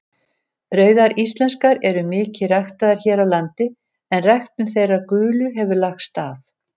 Rauðar íslenskar eru mikið ræktaðar hér á landi en ræktun þeirra gulu hefur lagst af.